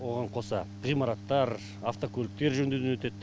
оған қоса ғимараттар автокөліктер жөндеуден өтеді